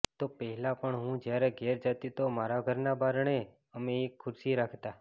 તો પહેલાં પણ હું જ્યારે ઘેર જતી તો મારા ઘરના બારણે અમે એક ખુરશી રાખતા